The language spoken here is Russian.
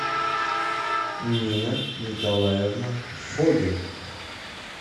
нина николаевна фогель